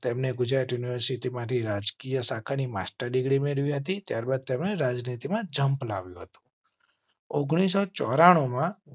તેમણે ગુજરાત યુનિવર્સિટી માંથી રાજકીય શાખા ની માસ્ ટર ડિગ્રી મેળવી હતી. ત્યાર બાદ તેમણે રાજનીતિ માં જમ્પ લાવું હતું. ઓગણીસો ચોરા ણું માં